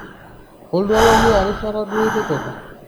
koltuala liaarishata duo itipika